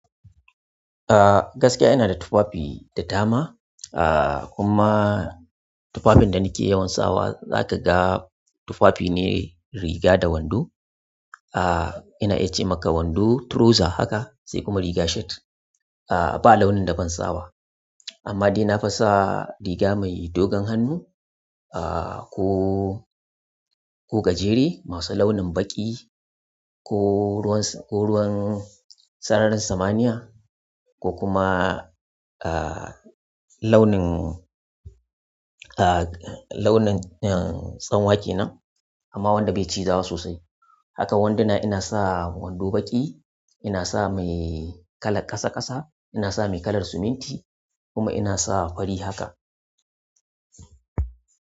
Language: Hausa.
Ah gaskiya ina da tufafi da dama. Ah kuma tufafin da nake yawan sawa zaka ga tufafi ne riga da wando. Ina iya ce maka wando turoza haka se kuma riga shet. Ah ba launin da ban sawa. Amma dai na fisa riga mai dogon hannu ah ko, ko gajere masu launin baƙi ko ruwan sararin samaniya ko kuma launin, launin tsanwa kenan amma wanda bai cizawa sosai. Haka wanduna ina sa wando baƙi, ina sa mai kalar ƙasa ƙasa, ina sa mai kalar siminti kuma ina sa fari haka.